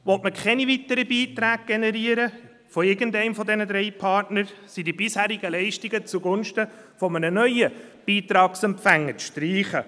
Will man keine weiteren Beiträge generieren, von irgendeinem dieser drei Partner, so sind die bisherigen Leistungen zugunsten eines neuen Beitragsempfängers zu streichen.